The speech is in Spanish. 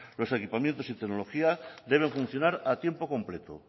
los equipamientos y tecnología deben funcionar a tiempo completo